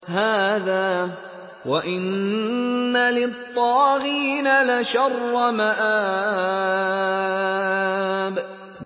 هَٰذَا ۚ وَإِنَّ لِلطَّاغِينَ لَشَرَّ مَآبٍ